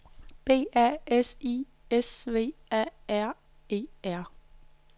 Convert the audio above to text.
B A S I S V A R E R